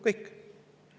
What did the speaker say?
Kõik!